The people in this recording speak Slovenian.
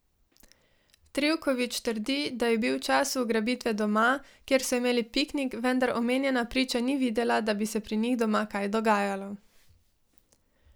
Trivković trdi, da je bil v času ugrabitve doma, kjer so imeli piknik, vendar omenjena priča ni videla, da bi se pri njih doma kaj dogajalo.